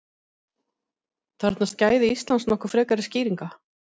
Þarfnast gæði Íslands nokkuð frekari skýringa?